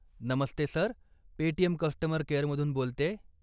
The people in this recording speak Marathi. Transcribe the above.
नमस्ते सर, पेटीएम कस्टमर केअरमधून बोलतेय.